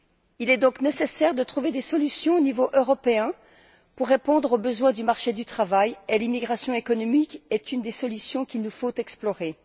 Il est donc nécessaire de trouver des solutions au niveau européen pour répondre aux besoins du marché du travail et l'immigration économique est une des solutions qu'il nous faut explorer.